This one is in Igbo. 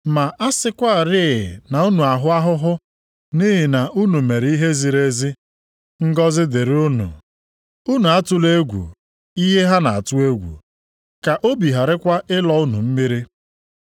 Ma a sịkwarị na unu ahụ ahụhụ nʼihi na unu mere ihe ziri ezi, ngọzị dịrị unu. “Unu atụla egwu ihe ha na-atụ egwu, ka obi gharakwa ịlọ unu mmiri.” + 3:14 \+xt Aịz 8:12\+xt*